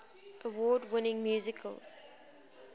award winning musicals